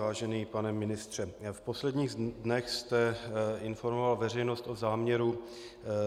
Vážený pane ministře, v posledních dnech jste informoval veřejnost o záměru